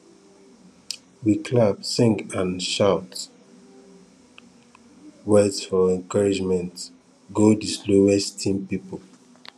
we clap sing and shout words for encouragement go di slowest team pipo